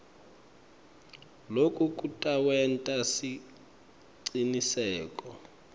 loku kutawenta siciniseko